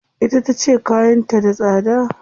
Ita tace kayan ta da tsada.